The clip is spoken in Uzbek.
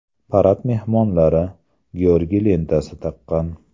Parad mehmonlari Georgiy lentasi taqqan.